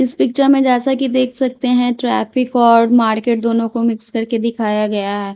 इस पिक्चर में जैसा कि देख सकते हैं ट्रैफिक और मार्केट दोनों को मिक्स करके दिखाया गया है.